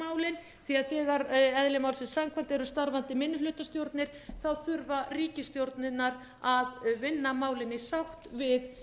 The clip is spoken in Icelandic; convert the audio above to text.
málin því þegar eðli málsins samkvæmt eru starfandi minnihlutastjórnir þurfa ríkisstjórnirnar að vinna málin í sátt við